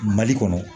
Mali kɔnɔ